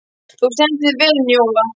Þú stendur þig vel, Njóla!